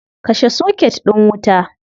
Kashe soket din wuta.